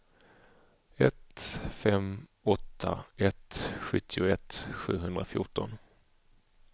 ett fem åtta ett sjuttioett sjuhundrafjorton